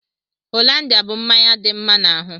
Hollandia bú mmanya dị mma n'ahụ.